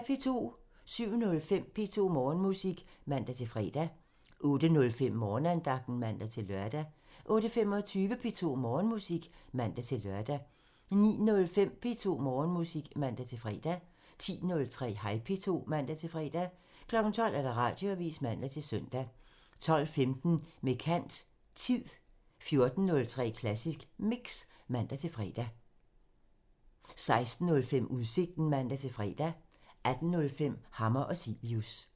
07:05: P2 Morgenmusik (man-fre) 08:05: Morgenandagten (man-lør) 08:25: P2 Morgenmusik (man-lør) 09:05: P2 Morgenmusik (man-fre) 10:03: Hej P2 (man-fre) 12:00: Radioavisen (man-søn) 12:15: Med kant – Tid 14:03: Klassisk Mix (man-fre) 16:05: Udsigten (man-fre) 18:05: Hammer og Cilius (man)